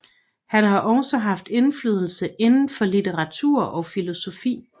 Han har også haft indflydelse inden for litteratur og filosofi